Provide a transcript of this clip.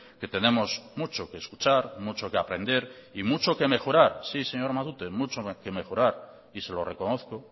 que tenemos mucho que escuchar mucho que aprender y mucho que mejorar sí señor matute mucho que mejorar y se lo reconozco